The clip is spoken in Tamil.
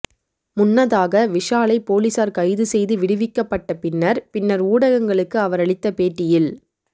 முன்னதாக விஷாலை போலீசார் கைது செய்து விடுவிக்கப்பட்ட பின்னர் பின்னர் ஊடகங்களுக்கு அவர் அளித்த பேட்டியில்